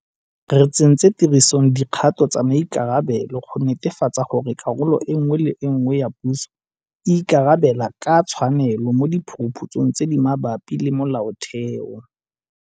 Re tsentse tirisong dikgato tsa maikarabelo go netefatsa gore karolo nngwe le nngwe ya puso e ikarabela ka tshwanelo mo diphuruphutsong tse di mabapi le molaotheo.